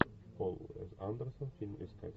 пол андерсон фильм искать